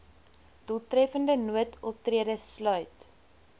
doeltreffende noodoptrede sluit